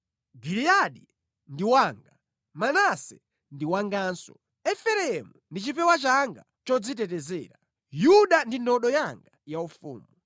Giliyadi ndi wanga, Manase ndi wanganso; Efereimu ndi chipewa changa chodzitetezera, Yuda ndi ndodo yanga yaufumu.